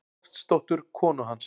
Loftsdóttur, konu hans.